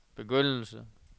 begyndelse